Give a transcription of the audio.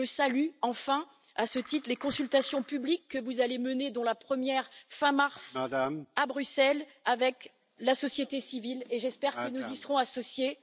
Je salue enfin, à ce titre, les consultations publiques que vous allez mener, dont la première fin mars à Bruxelles avec la société civile, et j'espère que nous y serons associés.